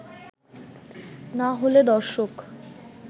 না হলে দর্শক